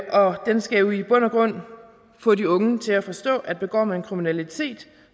og den skal jo i bund og grund få de unge til at forstå at begår man kriminalitet